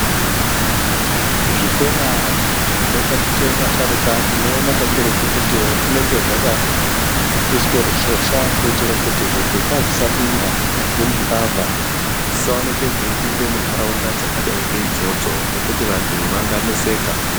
zvikora zvonotaticha vasharuka tinoona kakurukutiki zvinenge zvakaiswa rushosha kuitire kuti zvipuka zvisapinda kunyazwi nembavha dzisaonekwa dzeipinda mundaraunda dzakadaro ngeidzodzo ngekutii vantu vanga neseka